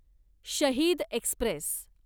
शहीद एक्स्प्रेस